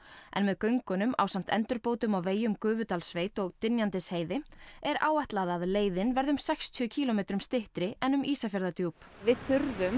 en með göngunum ásamt endurbótum á vegi um Gufudalssveit og Dynjandisheiði er áætlað að leiðin verði um sextíu kílómetrum styttri en um Ísafjarðardjúp við þurfum